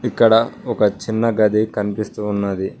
ఇక్కడ ఒక చిన్న గది కనిపిస్తూ ఉన్నది.